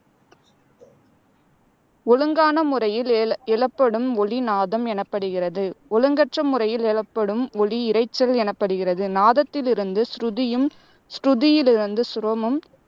ஒழுங்கான முறையில் எழ எழப்படும் ஒலி நாதம் எனப்படுகிறது. ஒழுங்கற்ற முறையில் எழப்படும் ஒலி இரைச்சல் எனப்படுகிறது. நாதத்திலிருந்து சுருதியும், சுருதியிலிருந்து சுரமும்,